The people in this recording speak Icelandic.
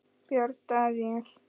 Björn Daníel?